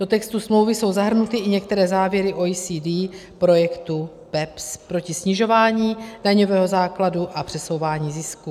Do textu smlouvy jsou zahrnuty i některé závěry OECD projektu BEPS proti snižování daňového základu a přesouvání zisků.